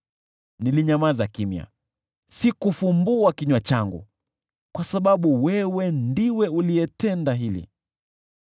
Nilinyamaza kimya, sikufumbua kinywa changu, kwa sababu wewe ndiwe uliyetenda hili.